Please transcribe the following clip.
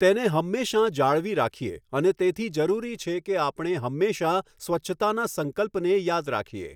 તેને હંમેશાં જાળવી રાખીએ અને તેથી જરૂરી છે કે આપણે હંમેશાં સ્વચ્છતાના સંકલ્પને યાદ રાખીએ.